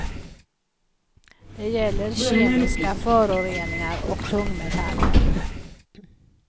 Det gäller kemiska föroreningar och tungmetaller.